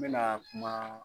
N bɛna kuma.0